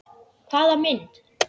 Hvaða mynd?